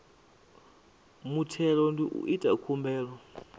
muthelo ndi u ita khumbelo